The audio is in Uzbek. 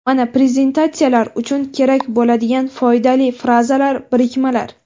mana prezentatsiya lar uchun kerak bo‘ladigan foydali frazalar, birikmalar.